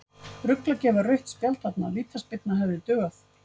Rugl að gefa rautt spjald þarna, vítaspyrna hefði dugað.